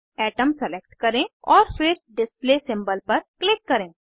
atom select करें और फिर डिस्प्ले सिंबल पर क्लिक करें